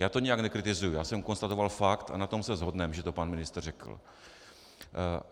Já to nijak nekritizuji, já jsem konstatoval fakt, a na tom se shodneme, že to pan ministr řekl.